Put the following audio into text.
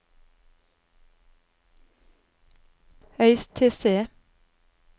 Øystese